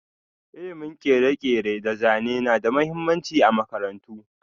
Ilimin kere-kere da zane na da mahimmanci a makarantu.